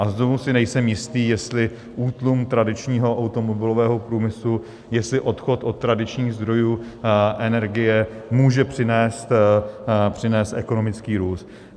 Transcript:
A znovu si nejsem jistý, jestli útlum tradičního automobilového průmyslu, jestli odchod od tradičních zdrojů energie může přinést ekonomický růst.